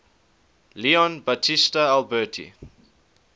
leon battista alberti